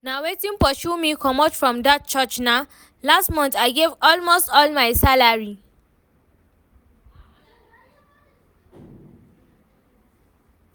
Na wetin pursue me comot from dat church nah, last month I gave almost all my salary